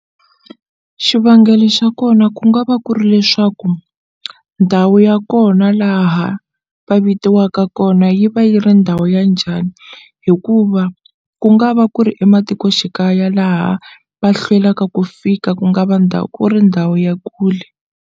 Xivangelo xa kona ku nga va ku ri leswaku ndhawu ya kona laha va vitiwaka kona yi va yi ri ndhawu ya njhani hikuva ku nga va ku ri ematikoxikaya laha va hlwelaka ku fika ku nga va ndhawu ku ri ndhawu ya kule.